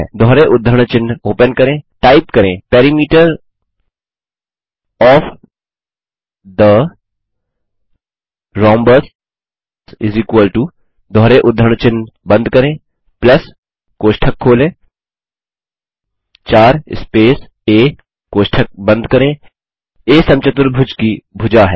दोहरे उद्धरण चिन्ह ओपन करें टाइप करें Perimeter ओएफ थे रोम्बस दोहरे उद्धरण चिन्ह बंद करें कोष्ठक खोलें 4 स्पेस आ कोष्ठक बंद करें आ समचतुर्भुज की भुजा है